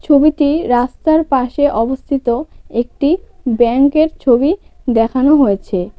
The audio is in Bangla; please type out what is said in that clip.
ছবিটি রাস্তার পাশে অবস্থিত একটি ব্যাংকের ছবি দেখানো হয়েছে।